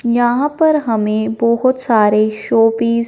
यहां पर हमें बहुत सारे शोपीस --